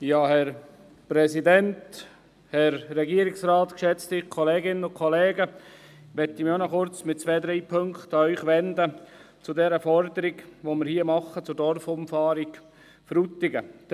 Ich möchte mich ebenfalls mit zwei oder drei Punkten zur Dorfumfahrung Frutigen an Sie wenden.